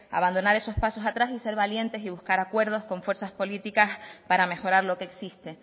abandonar esos pasos atrás y ser valientes y buscar acuerdos con fuerzas políticas para mejorar lo que existe